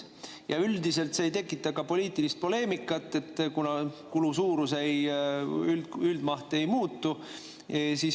Ja üldiselt see ei tekita poliitilist poleemikat, kuna kulu suurus, üldmaht ei muutu.